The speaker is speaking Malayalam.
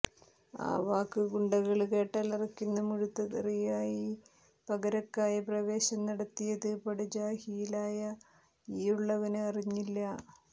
ആ വാക്ക് ഗുണ്ടകള് കേട്ടാലറക്കുന്ന മുഴുത്ത തെറിയായി പരകായപ്രവേശം നടത്തിയത് പടുജാഹിലായ ഈയുള്ളവന് അറിഞ്ഞില്ല